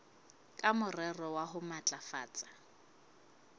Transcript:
ka morero wa ho matlafatsa